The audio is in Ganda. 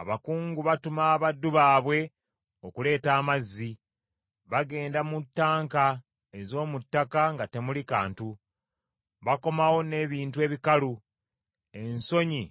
Abakungu batuma abaddu baabwe okuleeta amazzi; bagenda mu ttanka ez’omu ttaka nga temuli kantu, bakomawo n’ebintu ebikalu; ensonyi